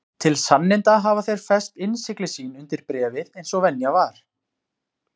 Til sanninda hafa þeir fest innsigli sín undir bréfið eins og venja var.